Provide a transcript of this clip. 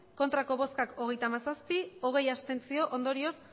ez hogeita hamazazpi abstentzioak hogei ondorioz